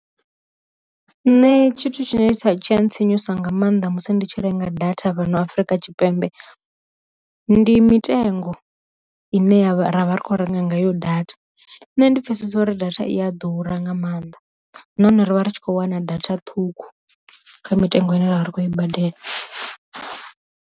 Nṋe tshithu tshine tsha tsha ntsinyusa nga maanḓa musi ndi tshi renga data vhano afrika tshipembe, ndi mitengo ine ya vha ra vha ri khou renga ngayo data nṋe ndi pfesesa uri data i a ḓura nga maanḓa nahone rivha ritshi kho wana data ṱhukhu kha mitengo ine ra vha ri khou i badela.